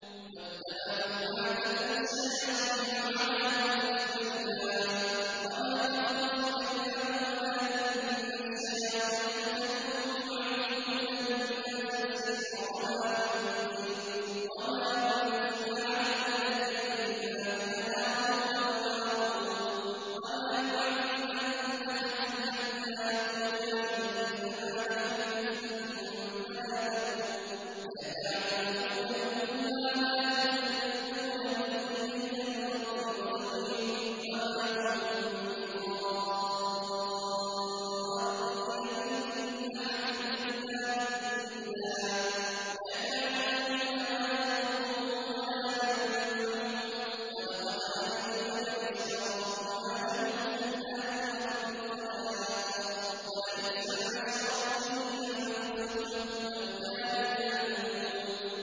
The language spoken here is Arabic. وَاتَّبَعُوا مَا تَتْلُو الشَّيَاطِينُ عَلَىٰ مُلْكِ سُلَيْمَانَ ۖ وَمَا كَفَرَ سُلَيْمَانُ وَلَٰكِنَّ الشَّيَاطِينَ كَفَرُوا يُعَلِّمُونَ النَّاسَ السِّحْرَ وَمَا أُنزِلَ عَلَى الْمَلَكَيْنِ بِبَابِلَ هَارُوتَ وَمَارُوتَ ۚ وَمَا يُعَلِّمَانِ مِنْ أَحَدٍ حَتَّىٰ يَقُولَا إِنَّمَا نَحْنُ فِتْنَةٌ فَلَا تَكْفُرْ ۖ فَيَتَعَلَّمُونَ مِنْهُمَا مَا يُفَرِّقُونَ بِهِ بَيْنَ الْمَرْءِ وَزَوْجِهِ ۚ وَمَا هُم بِضَارِّينَ بِهِ مِنْ أَحَدٍ إِلَّا بِإِذْنِ اللَّهِ ۚ وَيَتَعَلَّمُونَ مَا يَضُرُّهُمْ وَلَا يَنفَعُهُمْ ۚ وَلَقَدْ عَلِمُوا لَمَنِ اشْتَرَاهُ مَا لَهُ فِي الْآخِرَةِ مِنْ خَلَاقٍ ۚ وَلَبِئْسَ مَا شَرَوْا بِهِ أَنفُسَهُمْ ۚ لَوْ كَانُوا يَعْلَمُونَ